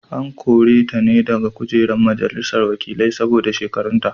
An kore ta ne daga kujerar majalisar wakilai saboda shekarunta.